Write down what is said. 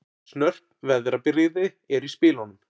Snörp veðrabrigði eru í spilunum